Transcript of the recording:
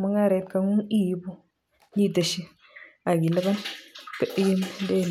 mung'aret ibu iboishen aki ilipan